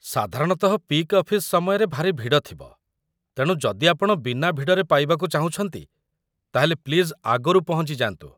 ସାଧାରଣତଃ peak office ସମୟରେ ଭାରି ଭିଡ଼ ଥିବ, ତେଣୁ ଯଦି ଆପଣ ବିନା ଭିଡ଼ରେ ପାଇବାକୁ ଚାହୁଁଛନ୍ତି ତା'ହେଲେ ପ୍ଲିଜ୍ ଆଗରୁ ପହଞ୍ଚି ଯାଆନ୍ତୁ ।